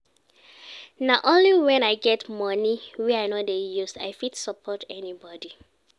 Na only wen I get moni wey I no dey use I fit support anybodi.